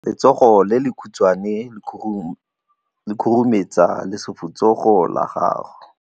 Letsogo le lekhutshwane le khurumetsa lesufutsogo la gago.